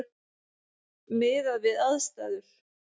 Miðað við aðstæður.